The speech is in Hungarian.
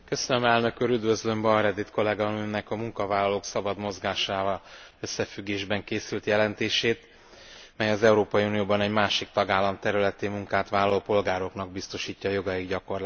Üdvözlöm Bauer Edit kolléganőmnek a munkavállalók szabad mozgásával összefüggésben készült jelentését, mely az Európai Unióban egy másik tagállam területén munkát vállaló polgároknak biztosítja jogaik gyakorlását.